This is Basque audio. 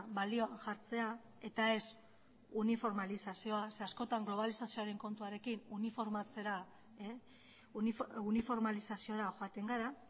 balioan jartzea eta ez uniformalizazioa zeren eta askotan globalizazioaren kontuarekin uniformalizaziora joaten gara